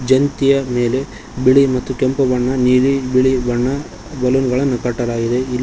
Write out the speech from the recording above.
ಯಂತಿಯ ಮೇಲೆ ಬಿಳಿ ಮತ್ತು ಕೆಂಪು ಬಣ್ಣ ನೀಲಿ ಬಿಳಿ ಬಣ್ಣ ಬಲೂನ್ ಗಳನ್ನ ಕಟ್ಟಲಾಗಿದೆ ಇಲ್ಲಿ --